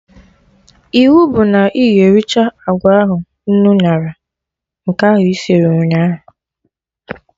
Iwu bụ na ị ga-ericha agwa ahụ nnu ñara, nke ahụ isir ụnyaahụ